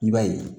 I b'a ye